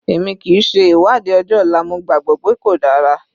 Èmi kìí ṣe ìwádìí ọjọ́ ọ̀la, mo gbàgbọ́ pé kò dára.